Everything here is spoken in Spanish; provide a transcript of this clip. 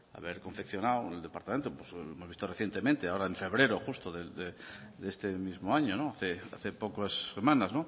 haber confeccionado el departamento pues hemos visto recientemente ahora en febrero justo de este mismo año hace pocas semanas